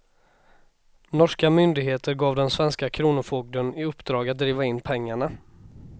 Norska myndigheter gav den svenska kronofogden i uppdrag att driva in pengarna.